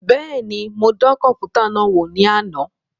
Bẹẹni, mo dàn kọnputa náà wò ní àna